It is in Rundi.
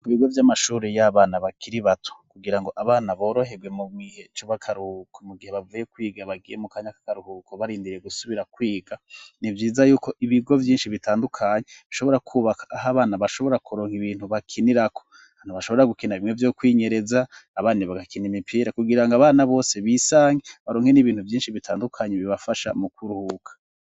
Ku bigo vy'amashuri y'abana bakiri bato kugira ngo abana boroherwe mu gihe c'akaruhuko mu gihe bavuye kwiga bagiye mu kanya kakaruhuko barindiriye gusubira kwiga, ni vyiza yuko ibigo vyinshi bitandukanye bishobora kwubaka aho abana bashobora kuronka ibintu bakinirako, ahantu bashobora gukina bimwe vyo kwinyereza abandi bagakina imipira kugira ngo abana bose bisange baronke n'ibintu vyinshi bitandukanye bibafasha mu kuruhuka.